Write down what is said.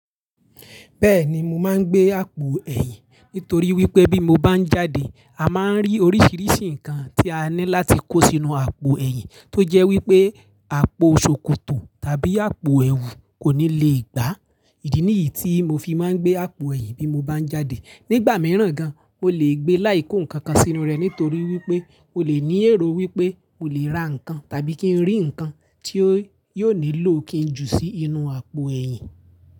Bẹ́ẹ̀ni mo máa ń gbé àpò ẹ̀yìn nítorí wípé bí mo bá ń jáde, a máa ń rí oríṣiríṣi nǹkan tí a ní láti kó sínú àpò ẹ̀yìn tó jẹ́ wípé àpò ṣòkòtò tàbí àpò ẹwù kò ní lè gbá. Ìdí nìyí tí mo fi máa ń gbé àpò ẹ̀yìn bí mo bá ń jáde. Nígbà mìíràn gan, o lè gbé láì kó nǹkan kan sínú rè nítorí wípé o lè ní èrò wípé o lè ra nǹkan tàbí kí ń rí nǹkan tí ó yóò nílò kí ń jù sí inú àpò ẹ̀yìn.